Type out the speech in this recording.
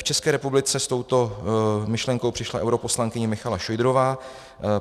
V České republice s touto myšlenkou přišla europoslankyně Michaela Šojdrová.